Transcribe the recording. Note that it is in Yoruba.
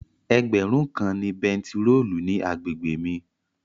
Ẹgbẹ̀rún kan ni bẹntiróòlù ní àgbègbè mi.